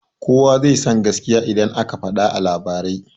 Kuwa zai san gaskiya idan aka fada a labarai